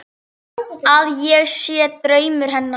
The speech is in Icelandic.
Að ég sé draumur hennar.